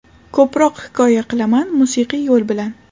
Ko‘proq hikoya qilaman, musiqiy yo‘l bilan.